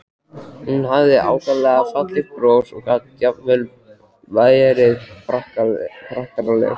Hún hafði ákaflega fallegt bros og gat jafnvel verið prakkaraleg.